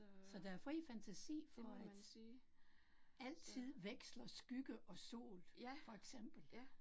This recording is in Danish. Så der er fri fantasi for at, altid veksler skygge og sol for eksempel